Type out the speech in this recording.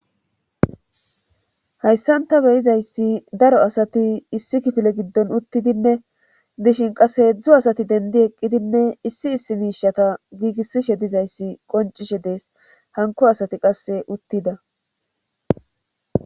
hayssanta beyizayssi daro asati issi kifile giddon uttidinne dishin qase heedzdzu asati dendi eqqidinne issi issi miishata giigissishe dizayssi qoncishe dees hanko asati qasse uttida